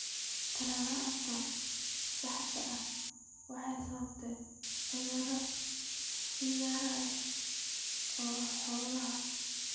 Tallaal la'aanta saxda ah waxay sababtaa cudurrada fayras ee xoolaha.